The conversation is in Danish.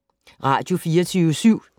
Radio24syv